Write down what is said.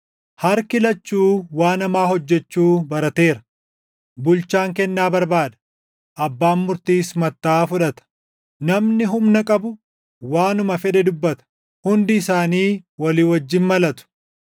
Harki lachuu waan hamaa hojjechuu barateera; bulchaan kennaa barbaada; abbaan murtiis mattaʼaa fudhata; namni humna qabu waanuma fedhe dubbata; hundi isaanii walii wajjin malatu.